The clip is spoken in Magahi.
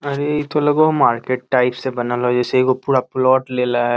अरे इ ता लगो हो मार्केट टाइप से बनल हो जैसे एगो पूरा प्लाट ले ला है।